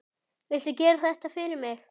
Viltu gera þetta fyrir mig!